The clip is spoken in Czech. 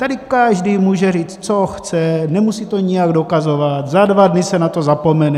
Tady každý může říct, co chce, nemusí to nijak dokazovat, zda dva dny se na to zapomene.